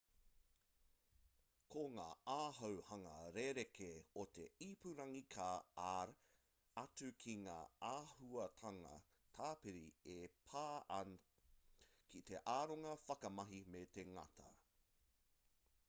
ko ngā āhuahanga rerekē o te ipurangi ka ar atu ki ngā āhuatanga tāpiri e pā an ki te aronga whakamahi me te ngata